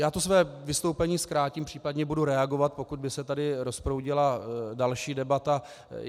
Já to své vystoupení zkrátím, případně budu reagovat, pokud by se tady rozproudila další debata.